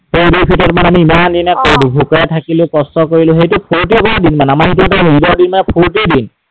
সেই ঈদ উল ফিটৰত মানে আমি ইমান দিনে ভোকত থাকিলো, কষ্ট কৰিলো, সেইটো স্ফুৰ্তি কৰাৰ দিন মানে, আমাৰ সেইটো এটা ঈদৰ দিন মানে স্‌ফুৰ্তিৰ দিন।